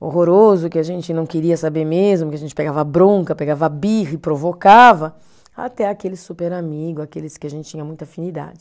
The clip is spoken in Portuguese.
horroroso, que a gente não queria saber mesmo, que a gente pegava bronca, pegava birra e provocava, até aquele super amigo, aqueles que a gente tinha muita afinidade.